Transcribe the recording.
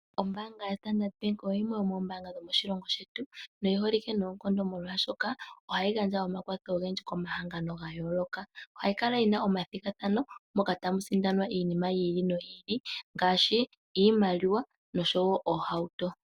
Ombaanga yo standard bank oyo yimwe yomoombaanga dhomoshilongo shetu, oyi holike nookondo molwaashoka ohayi gandja omakwatho ogendji komahangano ga yooloka. Ohayi kala yina omathigathano moka tamu sindanwa iinima yi ili noyi ili, ngashi iimaliwa noshowo oohauto.